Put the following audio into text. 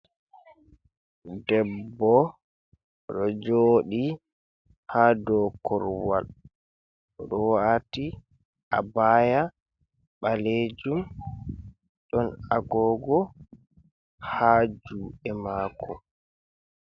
Debbo ɗo jodi ha dow kurowal ɗo wati a baya ɓalejum ɗon agogo ha juɗe mako.